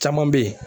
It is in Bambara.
Caman bɛ yen